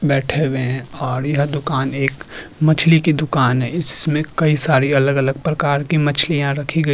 बैठ्ठे हुए है और यह दुकान एक मछली की दुकान है इसमें कई सारी अलग अलग प्रकार की मच्छलियां रखी गई --